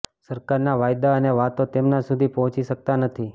સરકારના વાયદા અને વાતો તેમના સુધી પહોંચી શકતા નથી